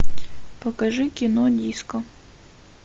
покажи кино диско